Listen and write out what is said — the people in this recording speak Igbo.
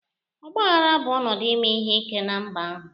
Ọgba aghara bụ ọnọdụ ime ihe ike na mba ahụ